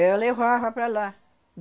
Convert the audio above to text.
Eu levava para lá.